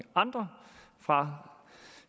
andre fra